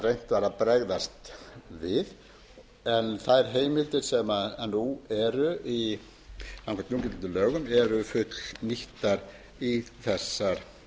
var að bregðast við þær heimildir sem nú eru samkvæmt núgildandi lögum eru fullnýttar í þessar